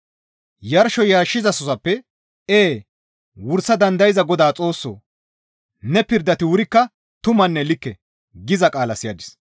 Yarsho yarshizasozappe, «Ee wursa dandayza Godaa Xoossoo! Ne pirdati wurikka tumanne likke» giza qaala siyadis.